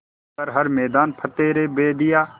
कर हर मैदान फ़तेह रे बंदेया